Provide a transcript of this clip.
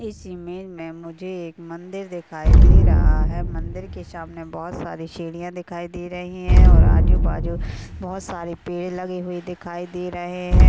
इस इमेज में मुझे एक मंदिर दिखाई दे रहा है मंदिर के सामने बहौत सारी सीढ़ियां दिखाई दे रही हैं और आजु-बाजु बहौत सारे पेड़ लगे हुए दिखाई दे रहे हैं।